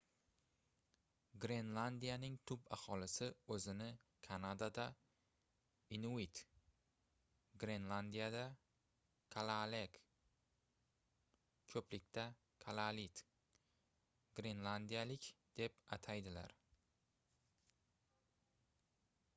grenlandiyaning tub aholisi o'zini kanadada inuit glenlandiyada kalaaleq ko'plikda — kalaallit — grenlandiyalik deb ataydilar